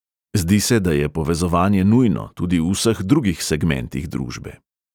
Zdi se, da je povezovanje nujno, tudi v vseh drugih segmentih družbe.